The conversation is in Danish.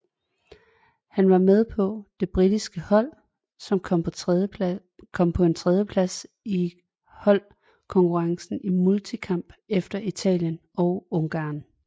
Han var med på det britiske hold som kom på en tredjeplads i holdkonkurrencen i multikamp efter Italien og Ungarn